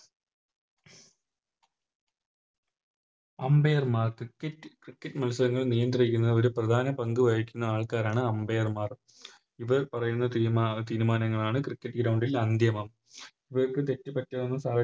Umpire മാർ Cricket മത്സരങ്ങൾ നിയന്ത്രിക്കുന്ന ഒരു പ്രധാന പങ്ക് വഹിക്കുന്ന ആൾ ക്കാരാണ് Umpire മാർ ഇവർ പറയുന്ന തീരുമാന തീരുമാനങ്ങളാണ് Cricket ground ൽ അന്ത്യമം ഇവർക്ക് തെറ്റ് പറ്റാവുന്ന സഹ